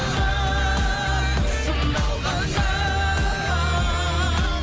сыналғанда